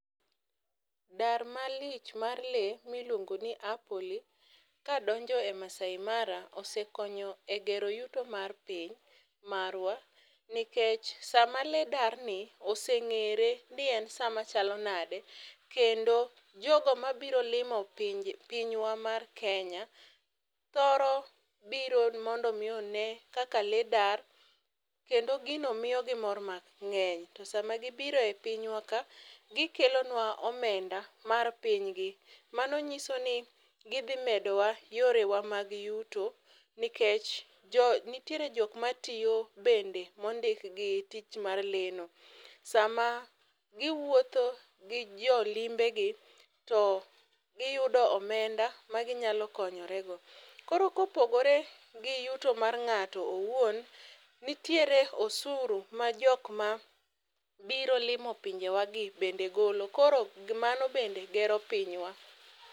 Dar malich mar lee miluongo ni apoli kadonjo e Maasai mara osekonyo e gero yuto mar piny marwa nikech sama lee darni oseng'ere ni en sama chalo nade kendo jogo mabiro limo pinywa mar Kenya thoro biro mondo omi obi one kaka lee dar kendo gino miyogi mor mang'eny to sama gibiro e pinywa ka gikelonwa omenda mar pinygi. Mano nyiso ni gidhi medowa yore mag yuto nikech nitiere jokma tiyo bende mondik gi tich mar lee no. Sama giwuotho gi jolimbegi, to giyudo omenda ma ginyalo konyorego. Koro kopogore gi yuto mar ng'ato owuon, nitiere osuru ma jokma biro limo pinjewagi bende golo koro mano bende gero pinywa.